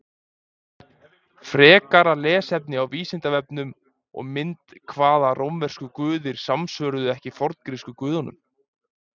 Frekara lesefni á Vísindavefnum og mynd Hvaða rómversku guðir samsvöruðu ekki forngrísku guðunum?